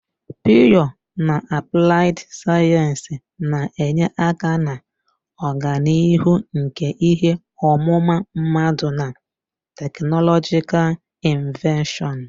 Pịyọ na apụlaid sayensị na-enye aka na ọganihu nke ihe ọmụma mmadụ na teknọlọjikal inọveshọn.